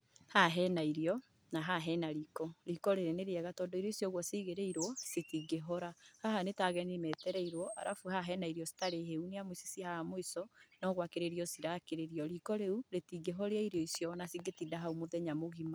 Haha hena irio, na haha hena riko. Riko rĩrĩ nĩ rĩega tondũ irio icio ũguo cigĩrĩirũo, citingĩhora. Haha nĩ ta ageni metereirũo, arafu haha hena irio citari hĩu. Nĩamu ici ciĩ haha mũico nogũakĩrĩrio cirakĩrĩrio. Riko rĩu rĩtingĩhoria irio icio ona cingĩtinda hau mũthenya mũgima.